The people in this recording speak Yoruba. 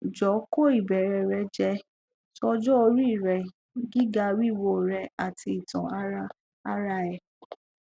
jo ko ibeere re je so ojo ori e gigawiwo re ati itan ara ara e